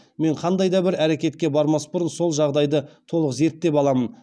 мен қандай да бір әрекетке бармас бұрын сол жағдайды толық зерттеп аламын